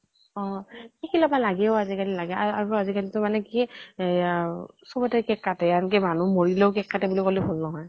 অ শিকি লব লাগে অ আজি কালি আজি কালি টো মানে কি হেয়া চবতে cake কাটে, আনকি মানুহ মৰিলেও cake কাটে বুলি কলে ভুল নহয়।